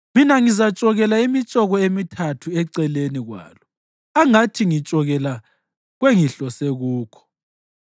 Mina ngizatshokela imitshoko emithathu eceleni kwalo angathi ngitshokela kwengihlose kukho.